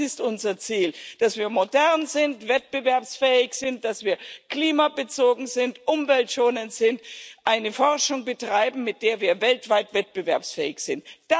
Das ist unser Ziel, dass wir modern sind, wettbewerbsfähig sind, dass wir klimabezogen sind, umweltschonend sind, eine Forschung betreiben, mit der wir weltweit wettbewerbsfähig sind.